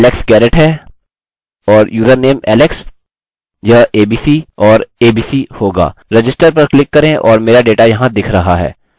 तो यह alex garrett है और यूजरनेम alex यह abc और abc होगा register पर क्लिक करें और मेरा डेटा यहाँ दिख रहा है